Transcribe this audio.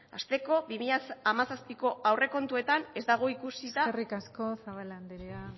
hasteko bi mila hamazazpiko aurrekontuetan ez dago ikusita eskerrik asko zabala andrea